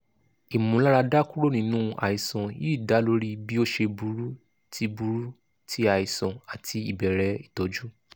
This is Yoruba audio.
imularada kuro ninu aisan yii da lori bi o ṣe buru ti buru ti aisan ati ibẹrẹ itọju